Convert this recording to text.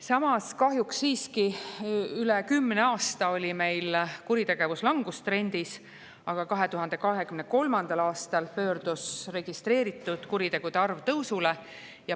Samas, üle kümne aasta oli meil kuritegevus langustrendis, aga kahjuks 2023. aastal pöördus registreeritud kuritegude arv tõusule.